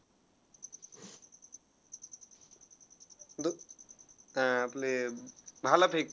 दू~ हा आपले भालाफेक